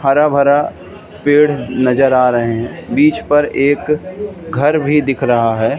हरा भरा पेड़ नजर आ रहे हैं बीच पर एक घर भी दिख रहा है।